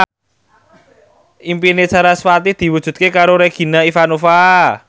impine sarasvati diwujudke karo Regina Ivanova